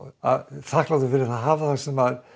þakklátur fyrir að hafa það sem